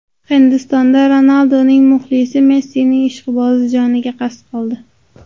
Hindistonda Ronalduning muxlisi Messining ishqibozi joniga qasd qildi.